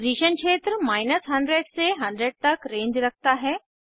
position क्षेत्र 100 से 100 तक रेंज रखता है